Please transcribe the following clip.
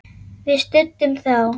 Við studdum þá!